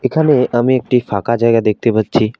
এখানে আমি একটি ফাঁকা জায়গা দেখতে পাচ্ছি।